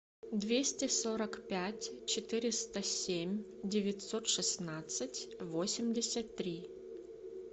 двести сорок пять четыреста семь девятьсот шестнадцать восемьдесят три